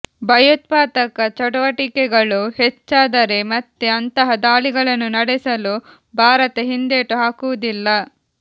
ಭಯೋತ್ಪಾದಕ ಚಟುವಟಿಕೆಗಳು ಹೆಚ್ಚಾದರೆ ಮತ್ತೆ ಅಂತಹ ದಾಳಿಗಳನ್ನು ನಡೆಸಲು ಭಾರತ ಹಿಂದೇಟು ಹಾಕುವುದಿಲ್ಲ